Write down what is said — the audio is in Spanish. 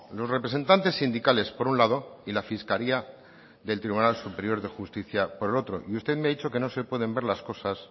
los representantes sindicales por un lado y la fiscalía del tribunal superior de justicia por el otro y usted me ha dicho que no se pueden ver las cosas